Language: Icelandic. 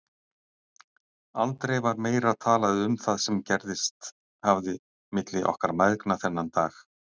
Aldrei var talað meira um það sem gerst hafði milli okkar mæðgna þennan dag.